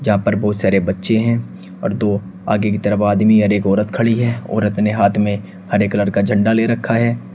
यहां पर बहोत सारे बच्चे हैं और दो आगे की तरफ आदमी और एक औरत खड़ी है औरत ने हाथ में हरे एक कलर झंडा ले रखा है।